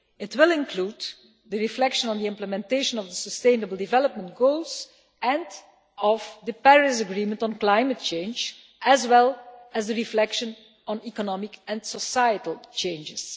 It will include the reflection on the implementation of the Sustainable Development Goals and of the Paris Agreement on Climate Change as well as the reflection on economic and societal changes.